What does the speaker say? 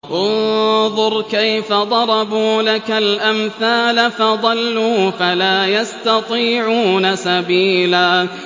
انظُرْ كَيْفَ ضَرَبُوا لَكَ الْأَمْثَالَ فَضَلُّوا فَلَا يَسْتَطِيعُونَ سَبِيلًا